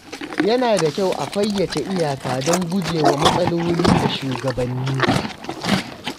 Yana da kyau a fayyace iyaka don gujewa matsaloli da shugabanni.